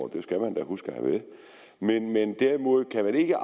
det skal man da huske at have med men derimod kan man ikke